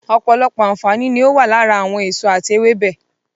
Ọ̀pọ̀lọpọ̀ àǹfààní ni ó wà lára àwọn èso àti ewébẹ̀.